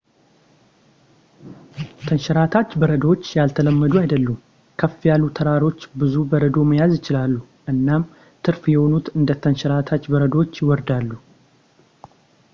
ተንሸራታች በረዶዎች ያልተለመዱ አይደሉም ከፍ ያሉ ተራሮች ብዙ በረዶ መያዝ ይችላሉ እናም ትርፍ የሆኑት እንደ ተንሸራታች በረዶዎች ይወርዳሉ